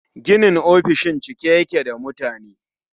Ginin ofishin cike yake da mutane